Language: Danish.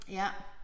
Ja